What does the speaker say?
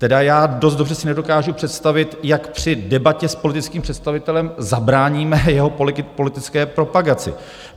Tedy já dost dobře si nedokážu představit, jak při debatě s politickým představitelem zabráníme jeho politické propagaci.